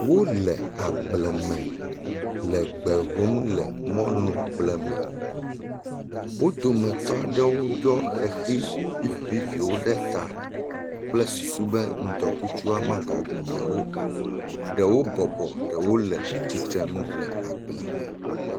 Wole agblẽ me le gbe hóm le mɔlugblẽ me. Wo dometɔ aɖewo ɖɔ ʋeʋi viviviwo ɖe ta kple susu be ŋdɔkutsu magaɖu yewo o. Ɖewo bɔbɔ ɖewo le tsitre nu le agblẽa me.